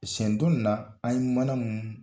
Seɲɛn dɔni na an mana mun